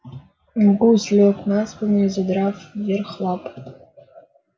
гусь лёг на спину и задрав вверх лапы